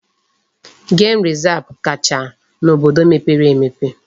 Gem resav kacha n'obodo mepere emepe.